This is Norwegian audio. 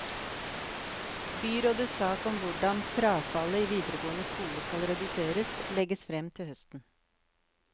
Byrådets sak om hvordan frafallet i videregående skole skal reduseres, legges frem til høsten.